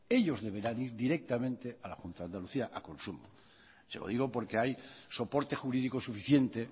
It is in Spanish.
ellos deberán ir directamente a la junta de andalucía a consumo se lo digo porque hay soporte jurídico suficiente